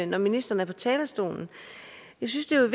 når ministeren er på talerstolen jeg synes at